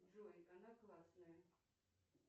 джой она классная